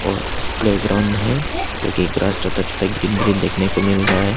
और प्लेग्राउंड है जो की ग्रास छोटा छोटा ग्रीन ग्रीन देखने को मिल रहा है।